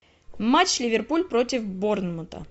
матч ливерпуль против борнмута